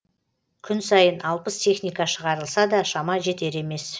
күн сайын алпыс техника шығарылса да шама жетер емес